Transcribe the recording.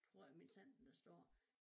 Tror jeg minsandten der står